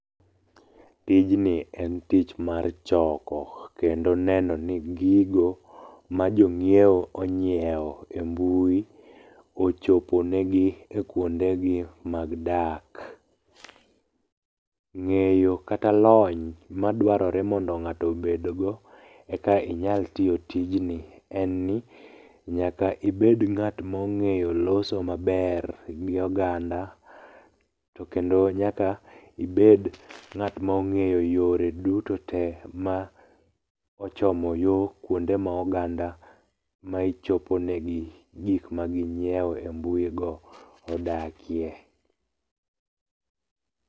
Tijni en tich mar choko. Kendo neno ni gigo ma jong'iewo onyiewo e mbui, ochoponegi ekuondegi mag dak. Ng'eyo kata lony madwarore mondo ng'ato obedgo eka inyal tiyo tijni en ni nyaka ibed ng'at mong'eyo loso maber gi oganda to kendo nyaka ibed ng'at mong'eyo yore duto te ma ochomo yo kuonde ma oganda ma ichoponegi gik maging'iewo e mbui go, odakie.